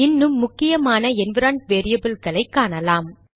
இன்னும் முக்கியமான என்விரான்மென்ட் வேரியபில்களை காணலாம்